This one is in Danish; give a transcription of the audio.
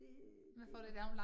Det det